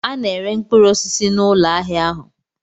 A na-ere mkpụrụ osisi n'ụlọ ahịa ahụ.